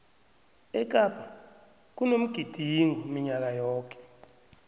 ekapa kunomgidingo minyaka yoke